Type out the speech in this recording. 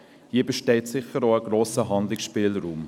Hier besteht sicher auch ein grosser Handlungsspielraum.